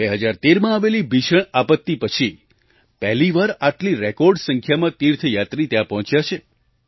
2013માં આવેલી ભીષણ આપત્તિ પછી પહેલી વાર આટલી રેકૉર્ડ સંખ્યામાં તીર્થયાત્રી ત્યાં પહોંચ્યા છે